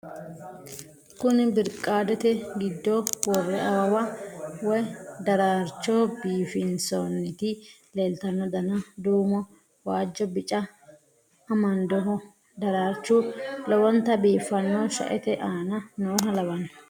kuni birqaadete giddo worre awawa woy daraarcho biifinsoonniti leeltanno dana duumo waajjo bica amandoho daraarchu lowonta biifanno shaete aana nooha lawanno